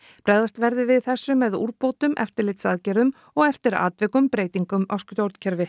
bregðast verði við þessu með úrbótum eftirlitsaðgerðum og eftir atvikum breytingum á stjórnkerfi